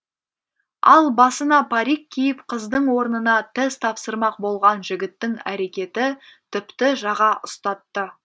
ал басына парик киіп қыздың орнына тест тапсырмақ болған жігіттің әрекеті тіпті жаға ұстатты